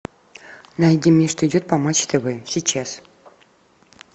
найди мне что идет по матч тв сейчас